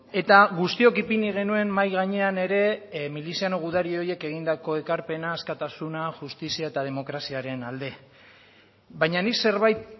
eta guztiok ipini genuen mahai gainean ere miliziano gudari horiek egindako ekarpenak askatasuna justizia eta demokraziaren alde baina nik zerbait